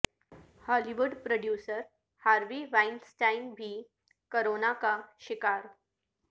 ہالی would producer Harvey Weinstein بھی corona کا شکار